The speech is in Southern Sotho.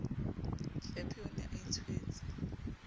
hlephe o ne a itswetse